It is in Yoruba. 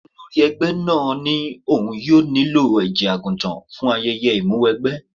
Olórí ẹgbẹ́ náà ní òun yóò nílò ẹ̀jẹ̀ àgùntàn fún ayẹyẹ ìmúwẹgbẹ́.